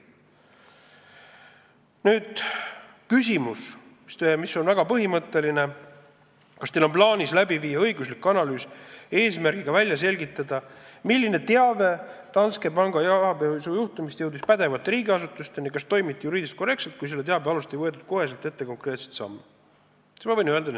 Nüüd küsimus, mis on väga põhimõtteline: "Kas Teil on plaanis viia läbi õiguslik analüüs eesmärgiga välja selgitada, milline teave Danske panga rahapesujuhtumist jõudis pädevate riigiasutuseni ja kas toimiti juriidiliselt korrektselt, kui selle teabe alusel ei võetud koheselt ette konkreetseid samme?